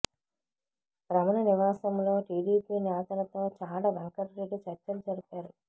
రమణ నివాసంలో టిడిపి నేతలతో చాడ వెంకటరెడ్డి చర్చలు జరిపారు